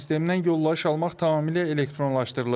Bu sistemdən yollayış almaq tamamilə elektronlaşdırılıb.